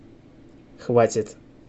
хватит